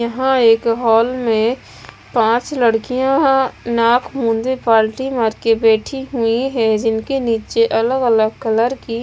यहाँ एक हॉल में पांच लड़कियां नाक मूंधे पाल्टी मार के बैठी हुईं हैं जिनके नीचे अलग अलग कलर की--